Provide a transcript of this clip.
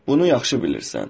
Bunu yaxşı bilirsən.